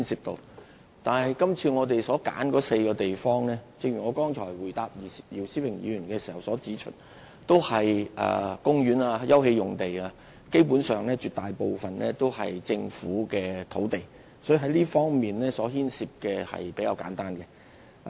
但是，就是次我們揀選的4個地區，正如我剛才回答姚思榮議員的補充質詢時所指出，涉及的都是公園/休憩用地，基本上絕大部分是政府土地，所以牽涉的問題亦比較簡單。